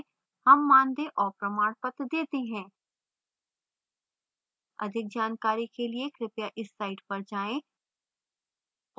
हम मानदेय और प्रमाणपत्र details हैं अधिक जानकारी के लिए कृपया इस site पर जाएँ